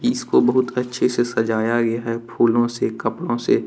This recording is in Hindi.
इसको बहुत अच्छे से सजाया गया है फूलों से कपड़ों से।